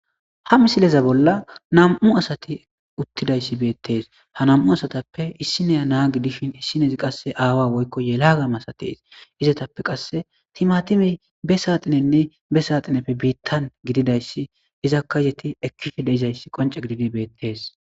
ha misileza bolla nam7u asati uttidayssi beettees ha nam7u asatappe issineya naa gidishin issinezi qasse aawa woykko yelagamasatees izetappe qasse timatime be saaxinenne be saaxineppe biittan gididayssi izakka yeti ekkife de7izayssi qonce gididi beettees.